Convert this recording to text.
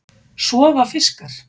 Sofa fiskar?